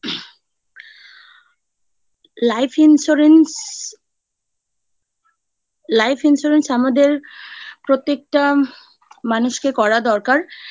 life insurance , life insurance আমাদের প্রত্যেকটা মানুষকে করা দরকার।